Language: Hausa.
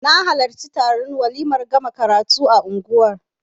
Na halarci taron waliman gama karatu a unguwar